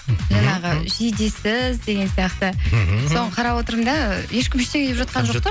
жаңағы жидесіз деген сияқты соны қарап отырмын да ешкім ештеңе деп жатқан жоқ та